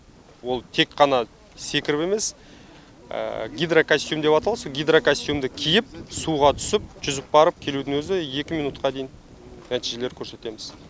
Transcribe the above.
ол тек қана секіріп емес гидрокостюм деп аталады сол гидрокостюмді киіп суға түсіп жүзіп барып келудің өзі екі минутқа дейін нәтижелер көрсетеміз